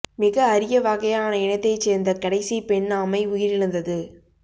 மிக அரிய வகையான இனத்தைச் சேர்ந்த கடைசி பெண் ஆமை உயிரிழந்தது